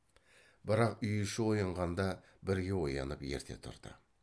бірақ үй іші оянғанда бірге оянып ерте тұрды